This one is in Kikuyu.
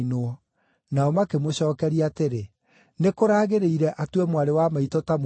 Nao makĩmũcookeria atĩrĩ, “Nĩkũraagĩrĩire atue mwarĩ wa maitũ ta mũmaraya?”